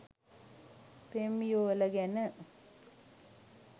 පෙම් යුවළ ගැන